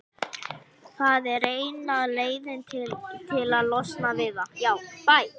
Það er eina leiðin til að losna við það.